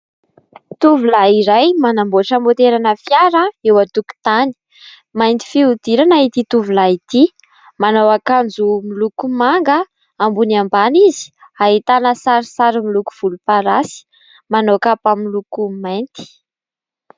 Tovolahy iray manamboatra motera ana fiara eo an-tokotany, mainty fihodirana ity tovolahy ity, manao akanjo miloko manga ambony ambany izy ahitana sary saro miloko volomparasy, manao kapa miloko mainty.